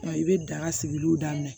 Wa i bɛ daga sigiliw daminɛ